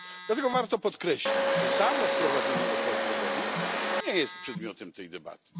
Dlatego warto podkreślić, że samo wprowadzenie opłat drogowych nie jest przedmiotem tej debaty.